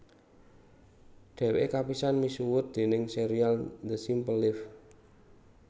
Dhèwèké kapisan misuwut déning sérial The Simple Life